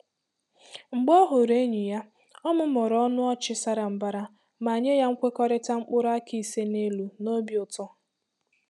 Mgbe ọ hụrụ enyi ya, ọ mụmụrụ ọnụ ọchị sara mbara ma nye ya nkwekọrịta mkpụrụ áká ise n'elu n'obi ụtọ.